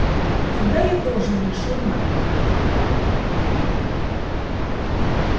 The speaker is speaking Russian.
тогда я тоже решил найд